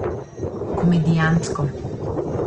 Komedijantsko.